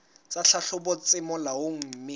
tsa tlhahlobo tse molaong mme